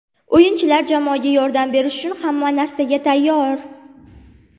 O‘yinchilar jamoaga yordam berish uchun hamma narsaga tayyor.